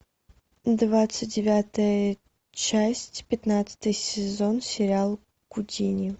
двадцать девятая часть пятнадцатый сезон сериал гудини